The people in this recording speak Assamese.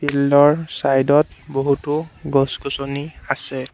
ফিল্ড ৰ চাইড ত বহুতো গছ গছনি আছে।